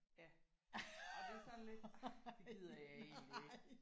Ja og det er sådan lidt det gider jeg egentlig ikke